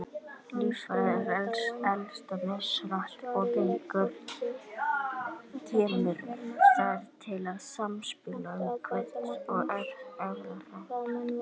Líffæri eldast mishratt og kemur þar til samspil umhverfis- og erfðaþátta.